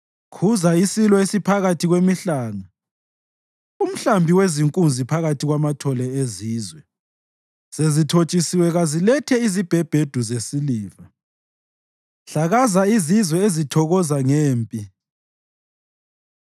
Khuza isilo esiphakathi kwemihlanga umhlambi wenkunzi phakathi kwamathole ezizwe. Sezithotshisiwe kazilethe izibhebhedu zesiliva. Hlakaza izizwe ezithokoza ngempi.